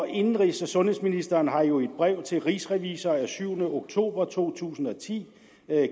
indenrigs og sundhedsministeren har jo i et brev til rigsrevisor af syvende oktober to tusind og ti